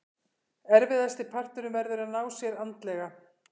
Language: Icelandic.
Erfiðasti parturinn verður að ná sér andlega.